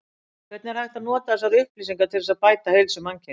Hvernig er hægt að nota þessar upplýsingar til þess að bæta heilsu mannkyns?